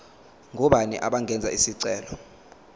ngobani abangenza isicelo